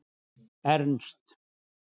Ernst